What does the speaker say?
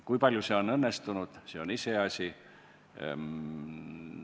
Kui palju see on õnnestunud, see on iseasi.